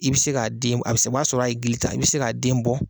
I bɛ se k'a den a bɛ se o b'a sɔrɔ a ye gili ta i bɛ se k'a den bɔ.